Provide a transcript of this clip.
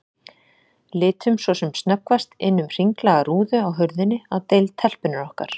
Litum svo sem snöggvast inn um hringlaga rúðu á hurðinni á deild telpunnar okkar.